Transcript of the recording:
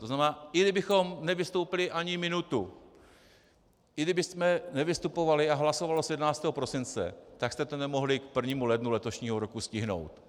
To znamená, i kdybychom nevystoupili ani minutu, i kdybychom nevystupovali a hlasovalo se 11. prosince, tak jste to nemohli k 1. lednu letošního roku stihnout.